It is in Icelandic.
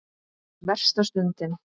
Versta stundin?